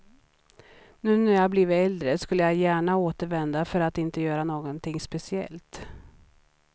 Nu när jag blivit äldre skulle jag gärna återvända för att inte göra någonting speciellt.